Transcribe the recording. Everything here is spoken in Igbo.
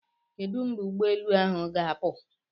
Kedu mgbe ụgbọ elu ahụ ga-apụ?